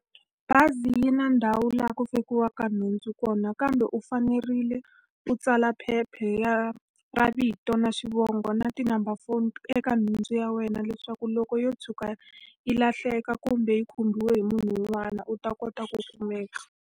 Bazi yi na ndhawu laha ku fakiwaka nhundzu kona kambe u fanerile u tsala phepha ra vito na xivongo na ti-number phone eka nhundzu ya wena. Leswaku loko yo tshuka yi lahleka kumbe yi khumbiwa hi munhu un'wana u ta kota ku kumeka.